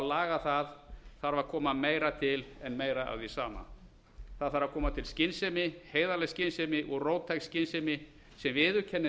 laga það þarf að koma meira til en meira af því sama það þarf að koma til skynsemi heiðarleg skynsemi og róttæk skynsemi sem viðurkennir